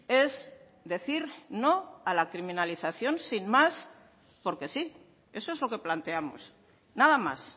es decir no a la criminalización sin más porque sí eso es lo que planteamos nada más